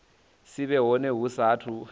si vhe hone hu saathu